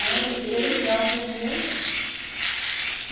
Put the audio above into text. Eles têm que assumir mesmo.